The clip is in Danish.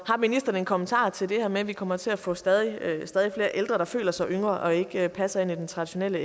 ministeren en kommentar til det her med at vi kommer til at få stadig flere ældre der føler sig yngre og ikke passer ind i den traditionelle